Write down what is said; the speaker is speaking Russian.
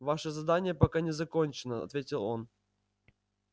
ваше задание пока не закончено ответил он